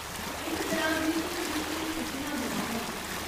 इस दरान बिच्च किश चिर छुट्टियां बी रौह्ङन।